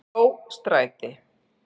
Mjóstræti